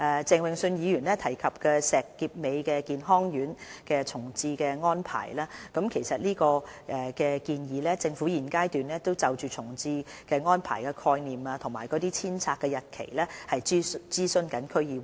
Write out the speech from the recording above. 鄭泳舜議員提及石硤尾健康院的重置安排，其實就這個建議，政府在現階段正就重置安排的概念和遷拆日期諮詢區議會。